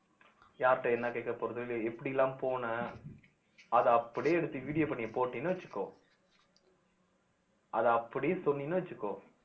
யாருட்ட என்ன கேட்க போறது இல்லை எப்படி எல்லாம் போனேன் அதை அப்படியே எடுத்து video பண்ணி போட்டீன்னு வச்சுக்கோ அதை அப்படியே சொன்னீன்னு வச்சுக்கோ